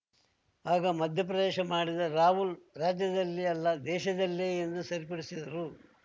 ಆಗ ಮಧ್ಯೆಪ್ರವೇಶ ಮಾಡಿದ ರಾಹುಲ್‌ ರಾಜ್ಯದಲ್ಲಿ ಅಲ್ಲ ದೇಶದಲ್ಲೇ ಎಂದು ಸರಿಪಡಿಸಿದರು